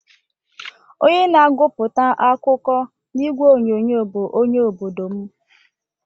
Onye na-aguputa akụkọ na igwe onyonyo bụ onye obodo m.